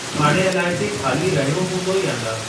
हाणे अलाजे खाली रहयो हंदो या न।